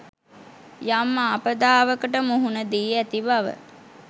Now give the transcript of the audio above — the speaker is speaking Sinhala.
යම් ආපදාවකට මුහුණ දී ඇති බව